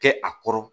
Kɛ a kɔrɔ